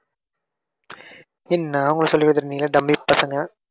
என்னா உங்களுக்கு சொல்லிகொடுத்துட்டு நீங்களா டம்மி பசங்க.